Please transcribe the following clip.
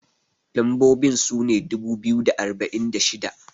lambobin sune dubu biyu da arba'in da shida